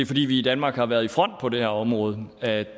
fordi vi i danmark har været i front på det her område at